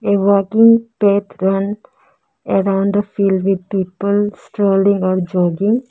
The walking patrun around the field with people strolling or jogging.